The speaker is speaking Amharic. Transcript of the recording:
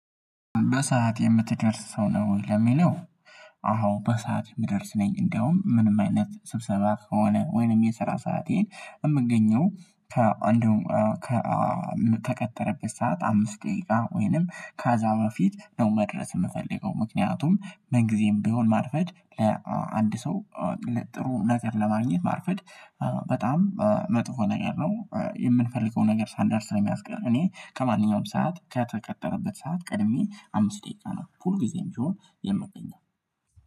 በሰአት የምትደርስ ሰው ነው ወይ? ለሚለው አዎ በሰአት የምደርስ ነኝ እንደውም ምንም አይነት ስብሰባ ከሆነ ወይንም የስራ ሰዓቴ የምገኘው ከአንዱ ከተቀጠረበት ሰዓት አምስት ደቂቃ ወይንም ካዛ ፊት ነው መድረስ የምፈልገው ምክንያቱም ምን ጊዜም ቢሆን ማርፈድ ለአንድ ሰው ጥሩ ነገር ለማግኘት ማርፈድ በጣም መጥፎ ነገር ነው የምንፈልገው ነገር ሳንደርስ ስለሚያስቀር እኔ ከማንኛውም ሰዓት ከተቀጠረበት ሰዓት ቀድሜ አምስት ደቂቃ ነው ሁልጊዜም ቢሆን የምትገኘው